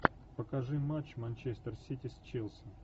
покажи матч манчестер сити с челси